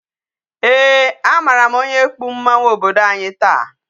Ee, a mara m onye kpu mmanwu obodo anyi taa.